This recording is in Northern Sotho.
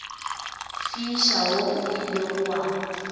fiša wo o ilego wa